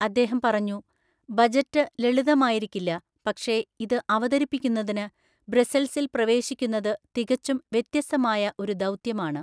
അദ്ദേഹം പറഞ്ഞു, ബജറ്റ് ലളിതമായിരിക്കില്ല, പക്ഷേ ഇത് അവതരിപ്പിക്കുന്നതിന് ബ്രസ്സൽസിൽ പ്രവേശിക്കുന്നത് തികച്ചും വ്യത്യസ്തമായ ഒരു ദൗത്യമാണ്.